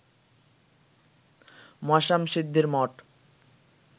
মশ্যামশিদ্ধির মঠ